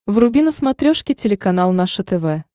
вруби на смотрешке телеканал наше тв